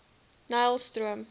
nylstroom